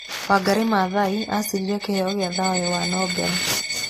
Wangari Maathai acindire kĩheo kĩa thayũ wa Nobel.